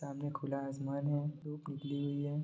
सामने खुला आसमान है धुप निकली हुई है ।